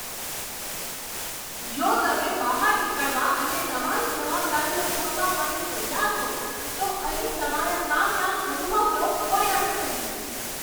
જો તમે બહાર નીકળવા અને તમારી જવાબદારીઓ છોડવા માટે તૈયાર હોવ, તો અહીં તમારા કામના અનુભવનો કોઈ અર્થ નથી.